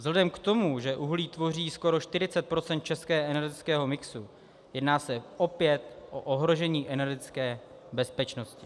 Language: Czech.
Vzhledem k tomu, že uhlí tvoří skoro 40 % českého energetického mixu, jedná se opět o ohrožení energetické bezpečnosti.